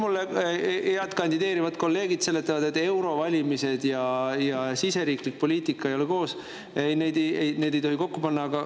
Mulle head kandideerivad kolleegid seletavad, et eurovalimised ja siseriiklik poliitika ei ole koos, neid ei tohi kokku panna.